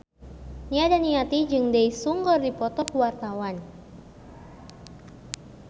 Nia Daniati jeung Daesung keur dipoto ku wartawan